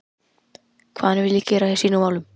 Hvað hann vilji gera í sínum málum?